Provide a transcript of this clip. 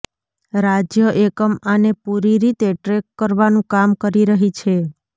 રાજ્ય એકમ આને પૂરી રીતે ટ્રેક કરવાનું કામ કરી રહી છે